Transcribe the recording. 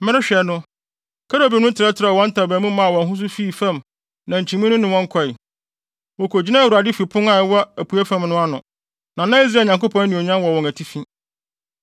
Merehwɛ no, kerubim no trɛtrɛw wɔn ntaban mu maa wɔn ho so fii fam na nkyimii no ne wɔn kɔe. Wokogyinaa Awurade fi pon a ɛwɔ apuei fam no ano, na na Israel Nyankopɔn anuonyam wɔ wɔn atifi.